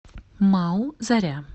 мау заря